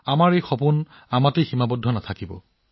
আৰু আমাৰ সপোনবোৰ কেৱল আমাৰ মাজতেই সীমাবদ্ধ নহব